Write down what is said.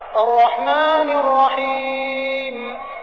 الرَّحْمَٰنِ الرَّحِيمِ